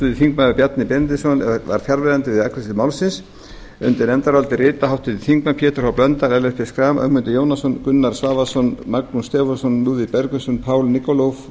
háttvirtur þingmaður bjarni benediktsson var fjarverandi við afgreiðslu málsins undir nefndarálitið rita háttvirtir þingmenn pétur h blöndal ellert b schram ögmundur jónasson gunnar svavarsson magnús stefánsson lúðvík bergvinsson paul nikolov og